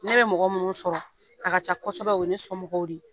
Ne bɛ mɔgɔ minnu sɔrɔ a ka ca kosɛbɛ o ye ne sɔmɔgɔw de ye